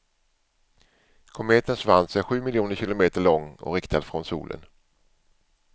Kometens svans är sju miljoner kilometer lång och riktad från solen.